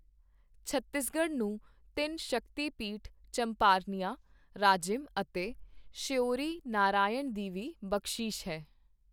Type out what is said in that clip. ਛੱਤੀਸਗੜ੍ਹ ਨੂੰ ਤਿੰਨ ਸ਼ਕਤੀਪੀਠ ਚੰਪਾਰਨਿਆ, ਰਾਜਿਮ ਅਤੇ ਸ਼ਯੋਰੀ-ਨਾਰਾਇਣ ਦੀ ਵੀ ਬਖਸ਼ੀਸ਼ ਹੈ।